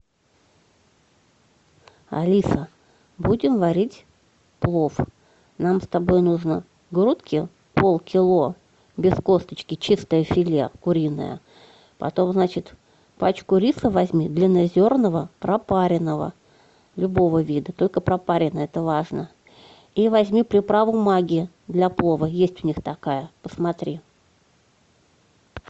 алиса будем варить плов нам с тобой нужно грудки полкило без косточки чистое филе куриное потом значит пачку риса возьми длиннозерного пропаренного любого вида только пропаренный это важно и возьми приправу магги для плова есть у них такая посмотри